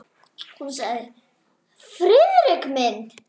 Hún sagði: Friðrik minn!